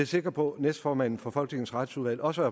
sikker på at næstformanden for folketingets retsudvalg også